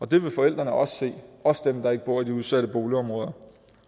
vil forældrene også se også dem der ikke bor i de udsatte boligområder